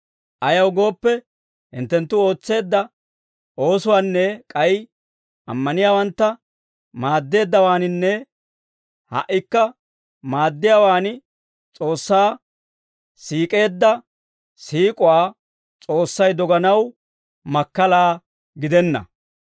Ayaw gooppe, hinttenttu ootseedda oosuwaanne k'ay ammaniyaawantta maaddeeddawaaninne ha"ikka maaddiyaawaan S'oossaa siik'eedda siik'uwaa S'oossay doganaw makkala gidenna.